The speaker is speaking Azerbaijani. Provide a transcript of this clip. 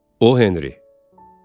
O Henri.